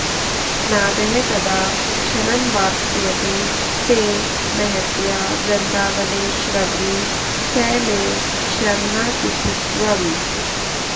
नादः कदा क्षणमवाप्स्यति ते महत्या वृन्दावनेश्वरि स मे श्रवणातिथित्वम्